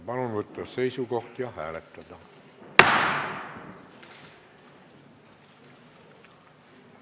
Palun võtta seisukoht ja hääletada!